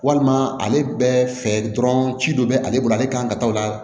Walima ale bɛɛ fɛ dɔrɔn ci dɔ bɛ ale bolo ale kan ka taa la